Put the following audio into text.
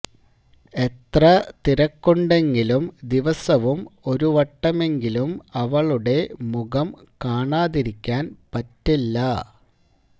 എത്ര തിരക്കുണ്ടെങ്കിലും ദി വസവും ഒരു വട്ടമെങ്കിലും അവളുടെ മുഖം കാണാതിരിക്കാൻ പറ്റില്ല